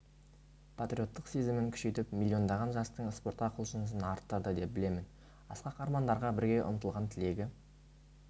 патриоттық сезімін күшейтіп миллиондаған жастың спортқа құлшынысын арттырды деп білемін асқақ армандарға бірге ұмтылған тілегі